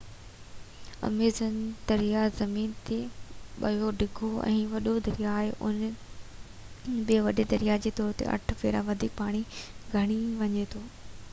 Amazon دريا زمين تي ٻيو ڊگهو ۽ وڏو دريا آهي اهو ٻي وڏي دريا جي طور تي 8 ڀيرا وڌيڪ پاڻي کڻي وڃي ٿو